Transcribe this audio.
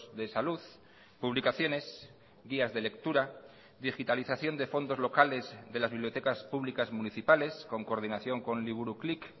de salud publicaciones guías de lectura digitalización de fondos locales de las bibliotecas públicas municipales con coordinación con liburuklik